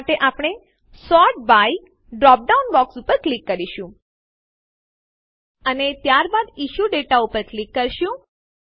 આ માટે આપણે sort by drop down box ઉપર ક્લિક કરીશું અને ત્યારબાદ ઇશ્યુ દાતે ઉપર ક્લિક કરીશું